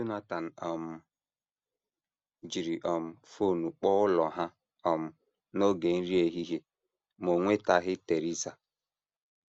Jonathan um jiri um fon kpọọ ụlọ ha um n’oge nri ehihie, ma o nwetaghị Theresa.